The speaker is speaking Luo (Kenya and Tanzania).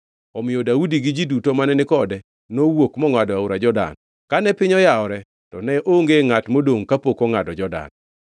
Omiyo Daudi gi ji duto mane ni kode nowuok mongʼado aora Jordan. Kane piny yawore to ne onge ngʼat modongʼ kapok ongʼado Jordan.